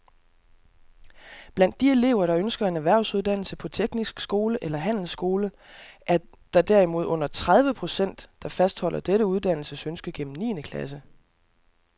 Blandt de elever, der ønsker en erhvervsuddannelse på teknisk skole eller handelsskole, er der derimod under tredive procent, der fastholder dette uddannelsesønske gennem niende klasse.